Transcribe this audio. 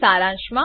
સારાંશ માટે